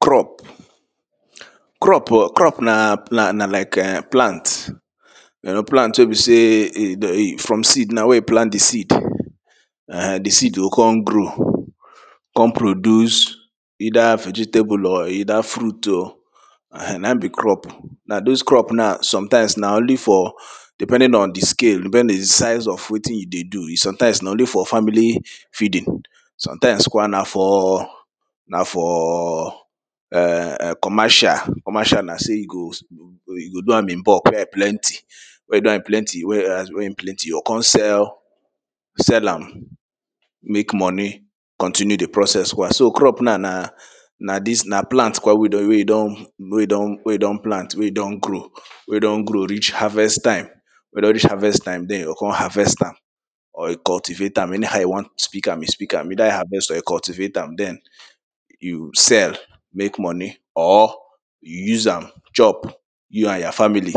crop crop na like um plant plant wey be sey from seed na where you plant de seed de seed dem go come grow come produce eida vegetable or eida fruit o na im be crop na dos crop na sometimes now na only for depending on de scale wen de size of something you dey do sometimes na only for family feeding sometimes kwa na for na for um commercial commercial na so e go you go do am in bulk wey plenty weda in plenty wey im plenty you go come sell sell am make money continue de process kwa so crop now na na dis na plant kwa wey e don wey e don plant wey e don grow wey don grow reach harvest time wey don reach harvest time den dem go come harvest am or cultivate am any how you wan pick am you pick am weda you harvest or you cultivate am den you sell make money or use am chop you and your family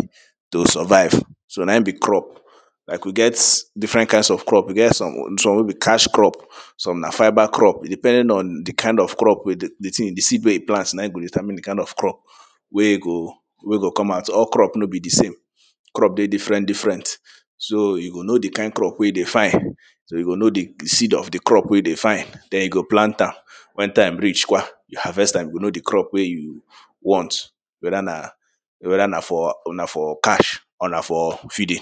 to survive so na im be crop i could get different kinds of crop e get some wey be cash crops some na fiba crop depending on de kind of crop de seed wey e plant na im go determine de type of crop wey go wey go come out all crops no be de same crop dey different different so you go know de kind crop wey you dey find so you go know de seed of de crop wey you dey find den you go plant am wen time reach kwa you harvest am you go know de crops wey you want weda na weda na for cash or na for feeding